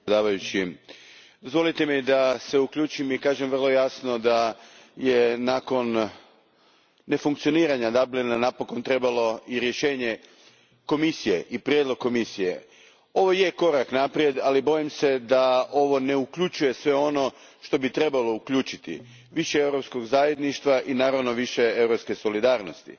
Gospodine predsjedniče, dozvolite mi da se uključim i kažem vrlo jasno da je nakon nefunkcioniranja Dublina napokon trebalo i rješenje Komisije i prijedlog Komisije. Ovo je korak naprijed, ali bojim se da ovo ne uključuje sve ono što bi trebalo uključiti više europskog zajedništva i više europske solidarnosti.